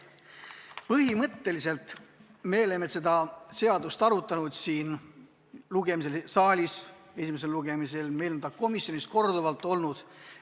Põhimõtteliselt me oleme seda seadust arutanud siin saalis esimesel lugemisel ja komisjonis on see korduvalt arutusel olnud.